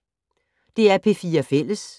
DR P4 Fælles